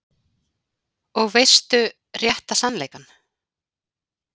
Og veistu rétta sannleikann?